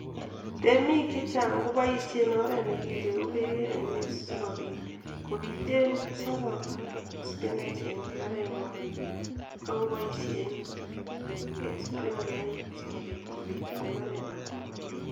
Temik chechang koboishen oret nekireu bek en ainet sikobit kobiten Saraj ak spinach en imbarenwa akoboishen spinklait sikobit kobisen